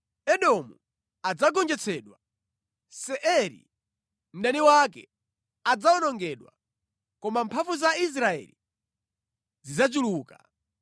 Edomu adzagonjetsedwa; Seiri, mdani wake, adzawonongedwa koma mphamvu za Israeli zidzachuluka.